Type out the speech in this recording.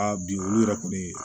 Aa bi olu yɛrɛ kɔni